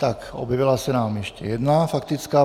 Tak, objevila se nám ještě jedna faktická.